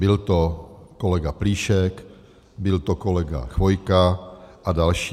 Byl to kolega Plíšek, byl to kolega Chvojka a další.